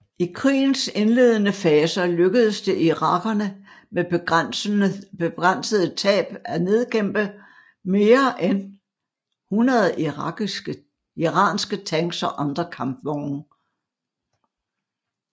I krigens indledende faser lykkedes det irakerne med begrænsede tab af nedkæmpe med end 100 iranske tanks og andre kampvogne